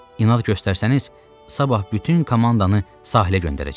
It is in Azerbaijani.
İnad göstərsəniz, sabah bütün komandanı sahilə göndərəcəm.